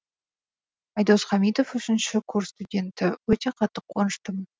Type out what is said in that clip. айдос хамитов үшінші курс студенті өте қатты қуаныштымын